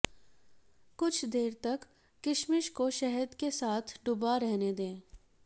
कुछ देर तक किशमिश को शहद के साथ डूबा रहने दें